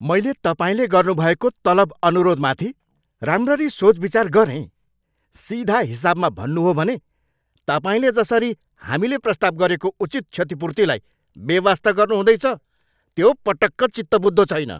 मैले तपाईँले गर्नुभएको तलब अनुरोधमाथि राम्ररी सोचविचार गरेँ। सिधा हिसाबमा भन्नु हो भने तपाईँले जसरी हामीले प्रस्ताव गरेको उचित क्षतिपूर्तिलाई बेवास्ता गर्नुहुँदैछ, त्यो पटक्क चित्तबुझ्दो छैन।